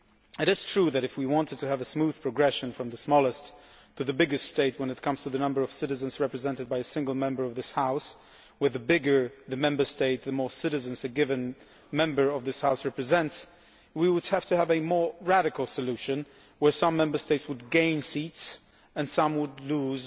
It is true that if we wanted to have a smooth progression from the smallest to the biggest state when it comes to the number of citizens represented by a single member of this House, with the bigger the Member State the more citizens a given member of this House represents, we would have to have a more radical solution, where some Member States would gain seats and some would lose